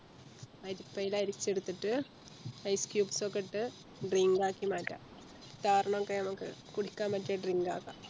അരിപ്പയിൽ അരിച്ചെടുത്തിട്ട് Ice cubes ഒക്കെ ഇട്ട് Drink ആക്കി മാറ്റാ Car ന്നോക്കെ നമുക്ക് കുടിക്കാൻ പറ്റിയെ Drink ആക്കാ